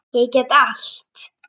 Ég get allt!